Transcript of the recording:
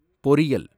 பொறியல்